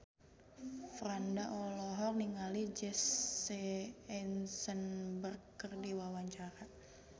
Franda olohok ningali Jesse Eisenberg keur diwawancara